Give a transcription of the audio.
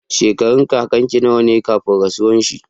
Shekarun kakan ka nawa kafin rasuwar shi?